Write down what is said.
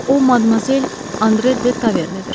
O Madmazel Andre De Tavernidir.